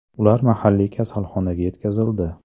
Ular mahalliy kasalxonaga yetkazildi.